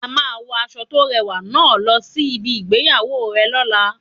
A máa wo aṣọ to rẹwà náà lọ sí ibi ìgbéyàwó rẹ lola